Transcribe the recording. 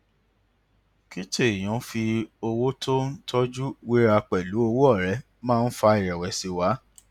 kí tèèyàn fi owó tó ń tójú wéra pèlú owó ọrẹ máa ń fa ìrẹ̀wẹ̀sì wá